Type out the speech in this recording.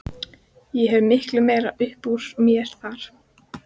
Ég hefði miklu meira upp úr mér þar.